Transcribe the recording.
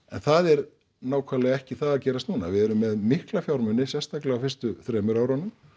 en það er nákvæmlega ekki það að gerast núna við erum með mikla fjármuni sérstaklega á fyrstu þremur árunum